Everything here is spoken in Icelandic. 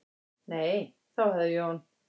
"""Nei, þá hafði Jón"""